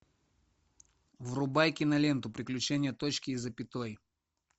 врубай киноленту приключения точки и запятой